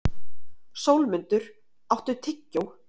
Sólmundur, áttu tyggjó?